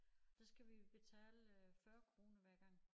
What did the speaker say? Der skal vi betale øh 40 kroner hver gang